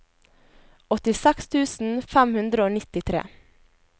åttiseks tusen fem hundre og nittitre